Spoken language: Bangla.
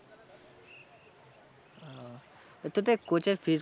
তোদের coach এর fees